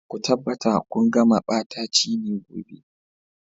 Ku tabbata kun kama ɓatacine gobe.